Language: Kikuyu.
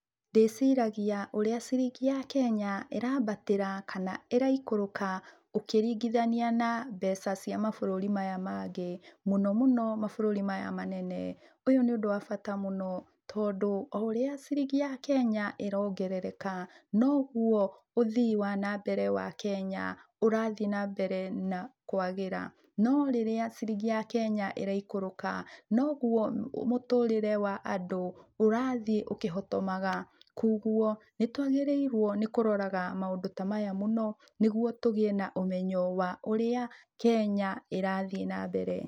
Ndĩciragia ũrĩa ciringi ya Kenya ĩrambatĩra kana ĩraikũrũka, ũkĩringithania na mbeca cia mabũrũri maya mangĩ, mũno mũno mabũrũri maya manene. Ũyũ nĩ ũndũ wa bata mũno, tondũ oũrĩa ciringi ya Kenya ĩrongerereka, noguo ũthii wa na mbere wa Kenya ũrathiĩ nambere na kwagĩra. No rĩrĩa ciringi ya Kenya ĩraikũrũka, noguo mũtũrĩre wa andũ ũrathiĩ ũkĩhotomaga, koguo nĩtwagĩrĩirwo nĩkũroraga maũndũ ta maya mũno, nĩguo tũgĩe na ũmenyo wa ũrĩa Kenya ĩrathiĩ na mbere.